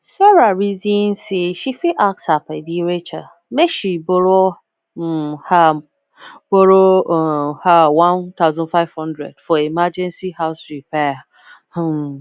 sarah reason say she fit ask her padi rachel make she borrow um her borrow um her one thousand five hundred for emergency house repair um